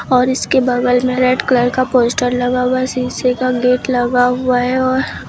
और इसके बगल में रेड कलर का पोस्टर लगा हुआ शीशे का गेट लगा हुआ है और--